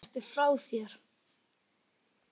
Ertu frá þér!